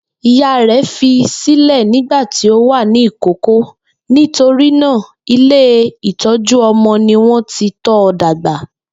Ìyá rẹ̀ fi sílẹ́ nígbà tí ó wà ní ìkókó, nítorí náà Ilé ìtọ́ju-ọmọ ni wọ́n ti tọ́ ọ dàgbà.